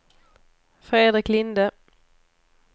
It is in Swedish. Fredrik Linde